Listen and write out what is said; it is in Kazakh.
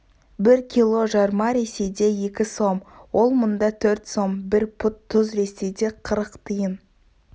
бір кило жарма ресейде екі сом ол мұнда төрт сом бір пұт тұз ресейде қырық тиын